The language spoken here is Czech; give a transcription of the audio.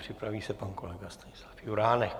Připraví se pan kolega Stanislav Juránek.